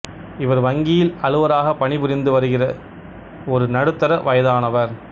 இவர் வங்கியில் அலுவலராகப் பணி புரிந்து வருகிற ஒரு நடுத்தர வயதானவர்